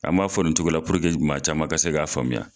An b'a fɔ nin cogo la puruke maa caman ka se k'a faamuya.